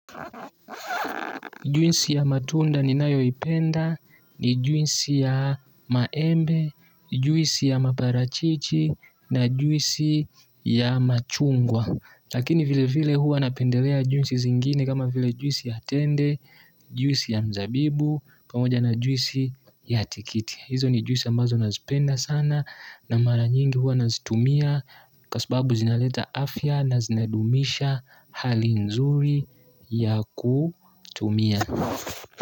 Juisi ya matunda ninayoipenda, ni juisi ya maembe, juisi ya maparachichi, na juisi ya machungwa. Lakini vile vile hua napendelea juisi zingine kama vile juisi ya tende, juisi ya mzabibu, pamoja na juisi ya tikiti. Hizo ni juisi ambazo nazipenda sana na mara nyingi huwa nazitumia. Kwa sababu zinaleta afya na zinadumisha hali nzuri ya kutumia.